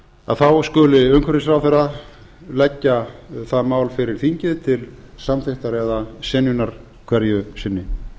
að þá skuli umhverfisráðherra leggja það mál fyrir þingið til samþykktar eða synjunar hverju sinni